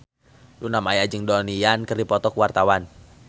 Luna Maya jeung Donnie Yan keur dipoto ku wartawan